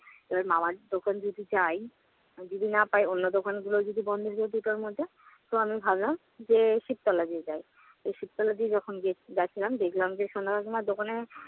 ওর মামার দোকান যদি যাই, যদি না পাই অন্য দোকানগুলোও যদি বন্ধ হয়ে যায় দুটার মধ্যে। তো আমি ভাবলাম যে শিবতলা দিয়ে যাই। এই শিবতলা দিয়ে যখন গেছি~যাচ্ছিলাম দেখলাম যে, সন্ধ্যা কাকিমার দোকানের